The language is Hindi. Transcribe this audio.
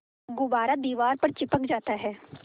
गुब्बारा दीवार पर चिपक जाता है